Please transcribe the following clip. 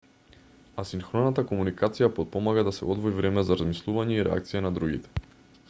асинхроната комуникација потпомага да се одвои време за размислување и реакција на другите